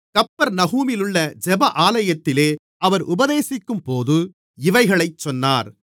கப்பர்நகூமிலுள்ள ஜெப ஆலயத்திலே அவர் உபதேசிக்கும்போது இவைகளைச் சொன்னார்